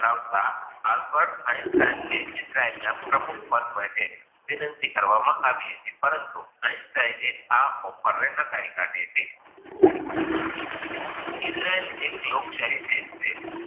પ્રમુખ પદ માટે વિનંતી કરવા માં આવી હતી, પરંતુ offer આ નકારી હતી,